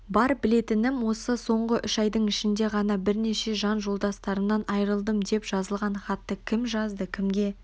бар білетінім осы соңғы үш айдың ішінде ғана бірнеше жан жолдастарымнан айрылдым деп жазылған хатты кім жазды және кімге